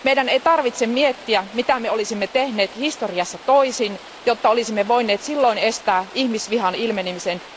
Meidän ei tarvitse miettiä, mitä olisimme tehneet historiassa toisin, jotta olisimme voineet silloin estää ihmisvihan ilmenemisen.